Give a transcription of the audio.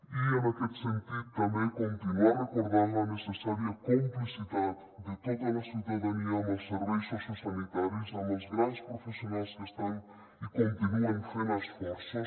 i en aquest sentit també continuar recordant la necessària complicitat de tota la ciutadania amb els serveis sociosanitaris amb els grans professionals que estan i continuen fent esforços